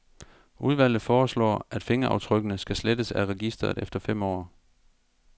Udvalget foreslår, at fingeraftrykkene skal slettes af registeret efter fem år.